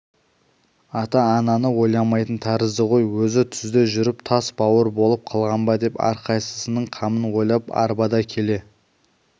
ата-ананы ойламайтын тәрізді ғой өзі түзде жүріп тас бауыр болып қалған ба деп әрқайсысының қамын ойлап арбада келе